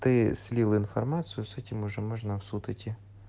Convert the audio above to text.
ты слил информацию с этим уже можно в суд идти